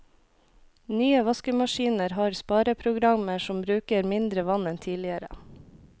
Nye vaskemaskiner har spareprogrammer som bruker mindre vann enn tidligere.